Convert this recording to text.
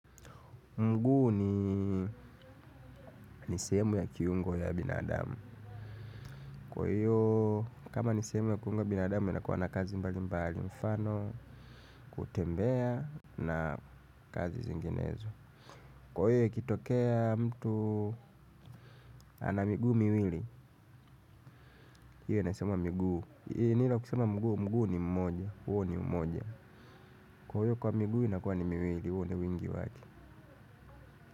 Mguu ni sehemu ya kiungo ya binadamu. Kwa hiyo, kama ni sehemu ya kiungo ya binadamu, inakuwa na kazi mbali mbali mfano, kutembea na kazi zinginezo. Kwa hiyo, ikitokea mtu ana miguu miwili, hiyo inasema miguu. Nila kusema mguu, mguu ni mmoja, huo ni umoja. Kwa hiyo, kwa miguu, inakuwa ni miwili, huo ndio wingi wake.